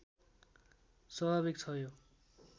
स्वाभाविक छ यो